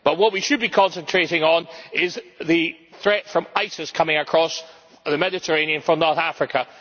But what we should be concentrating on is the threat from ISIS coming across the Mediterranean from North Africa.